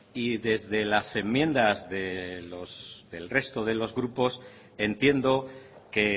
y desde las enmiendas del resto de los grupos entiendo que